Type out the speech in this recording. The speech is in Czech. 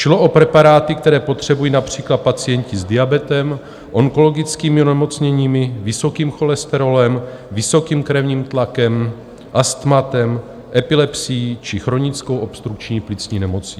Šlo o preparáty, které potřebují například pacienti s diabetem, onkologickými onemocněními, vysokým cholesterolem, vysokým krevním tlakem, astmatem, epilepsií či chronickou obstrukční plicní nemocí.